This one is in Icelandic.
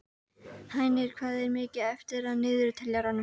Hænir, hvað er mikið eftir af niðurteljaranum?